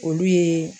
Olu ye